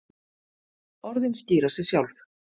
Orðin skýra sig sjálf.